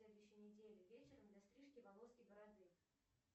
на следующей неделе вечером для стрижки волос и бороды